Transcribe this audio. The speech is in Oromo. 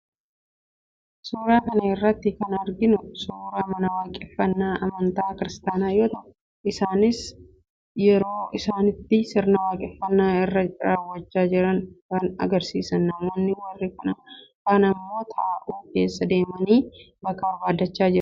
Suuraa kana irratti kan arginu suuraa mana waaqeffannaa amantaa kiristaanaa yoo ta'u, isaanis yeroo isaanitti sirna waaqeffannaa isaanii raawwachaa jiran kan agarsiisudha. Namoonni warri kaan immoo taa'uuf keessa deemanii bakka barbaaddachaa jiru.